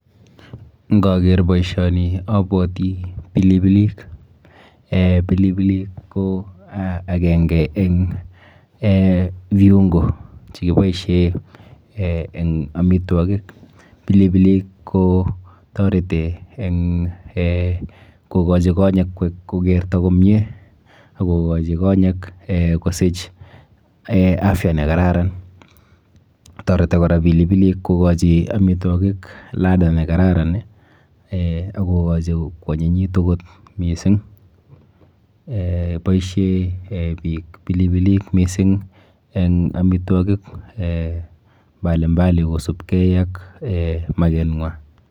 Nkaker boishoni abwati pilipilik. Eh pilipilik ko akenke eng eh viungo chekiboishe eh eng amitwokik. Pilipilik kotareti eng eh kokachi konyek kokerto komie ak kokachi konyek kosich eh afya nekararan. Toreti kora pilipilik kokachi amitwokik ladha nekararan, akokachi kwanyinyitu kot mising. Eh boishe eh biik pilipilik mising eng amitwakik eh mbalimbali kosubkei ak eh makenwa.